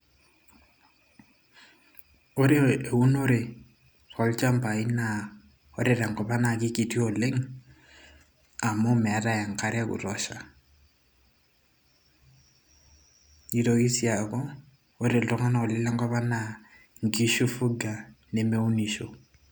ore eunore tolchambai naa ore tenkop ang naa kikiti oleng amu meetay enkare e kutosha nitoki sii aku ore iltung'anak oleng lenkop ang naa inkishu ifuga nemeunisho.